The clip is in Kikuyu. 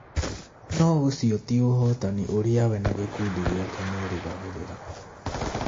No ũcio ti ũhootani ũrĩa we na gĩkundi gĩake meerĩgagĩrĩra.